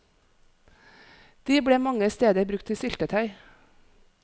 De ble mange steder brukt til syltetøy.